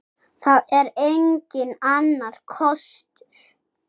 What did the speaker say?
Það er enginn annar kostur.